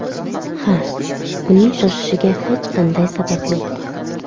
Ha, uning shoshishiga hech qanday sabab yo‘q.